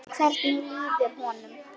Hvernig líður honum?